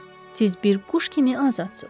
Siz bir quş kimi azadsız.